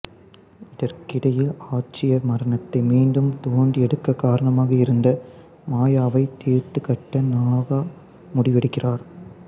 இதற்கிடையில் ஆட்சியர் மரணத்தை மீண்டும் தோண்டி எடுக்க காரணமாக இருந்த மாயாவை தீர்த்துக்கட்ட நாகா முடிவெடுக்கிறார்